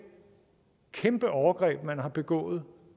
kæmpe overgreb man har begået